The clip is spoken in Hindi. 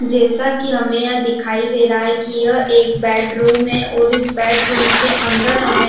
जैसा की हमे यह दिखाई दे रहा है की यह एक बेडरूम है और इस बेडरूम के अंदर हमें --